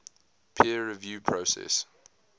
peer review process